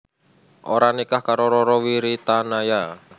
Oka nikah karo Rara Wiritanaya